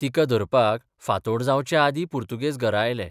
तिका धरपाक फांतोड जावचे आदर्दी पुर्तुगेज घरा आयले.